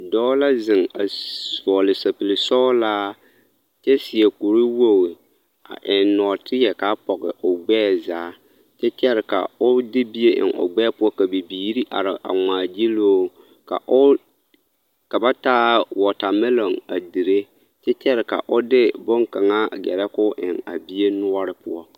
Dɔɔ la zeŋ a vɔɔle sapigi sɔɔlaa kyɛ seɛ kuri wogi a eŋ nɔɔteɛ k'a pɔge o gbɛɛ zaa kyɛ kyɛre ka o de bie eŋ o gbɛɛ bibiiri are a ŋmaa giluu ka o ka ba taa wɔɔtamɛloŋ a dire kyɛ kyɛre ka o de boŋkaŋa a gɛrɛ k'o eŋ a bie noɔre poɔ.